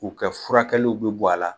U kɛ furakɛluw bi bɔ a la